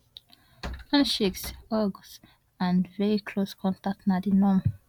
handshakes hugs and very close contact na di norm